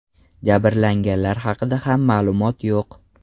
Jabrlanganlar haqida ham ma’lumot yo‘q.